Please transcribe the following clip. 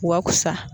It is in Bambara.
Wasa